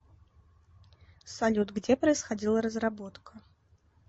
салют где происходила разработка